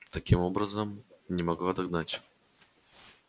таким образом не могла догнать